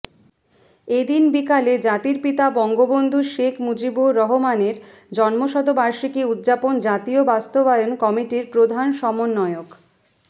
এদিন বিকালে জাতির পিতা বঙ্গবন্ধু শেখ মুজিবুর রহমানের জন্মশতবার্ষিকী উদযাপন জাতীয় বাস্তবায়ন কমিটির প্রধান সমন্বয়ক